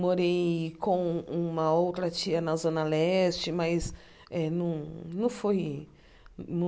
Morei com uma outra tia na Zona Leste, mas eh não não foi